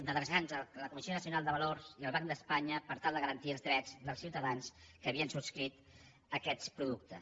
d’adreçar nos a la comissió nacional del mercat de valors i al banc d’espanya per tal de garantir els drets dels ciutadans que havien subscrit aquests productes